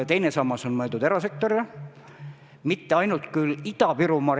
Teine sammas on mõeldud erasektorile, mitte küll ainult Ida-Virumaal.